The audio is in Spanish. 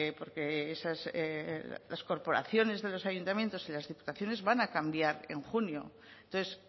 porque las corporaciones de los ayuntamientos y las diputaciones van a cambiar en junio entonces